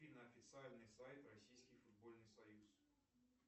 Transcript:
афина официальный сайт российский футбольный союз